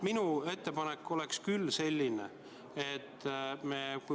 Minu ettepanek on selline.